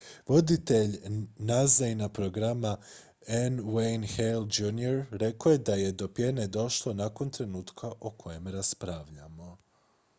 "voditelj nasa-ina programa n. wayne hale jr. rekao je da je do pjene došlo "nakon trenutka o kojem raspravljamo.""